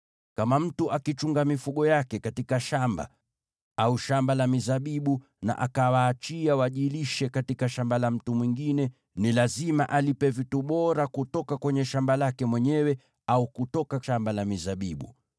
“Kama mtu akichunga mifugo yake katika shamba au shamba la mizabibu, na akawaachia wajilishe katika shamba la mtu mwingine, ni lazima alipe vitu bora kutoka kwenye shamba lake mwenyewe au kutoka shamba lake la mizabibu.